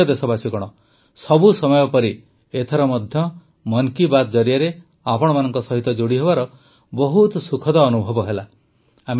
ମୋର ପ୍ରିୟ ଦେଶବାସୀଗଣ ସବୁ ସମୟ ପରି ଏଥର ମଧ୍ୟ ମନ୍ କୀ ବାତ ଜରିଆରେ ଆପଣମାନଙ୍କ ସହିତ ଯୋଡ଼ିହେବାର ବହୁତ ସୁଖଦ ଅନୁଭବ ହେଲା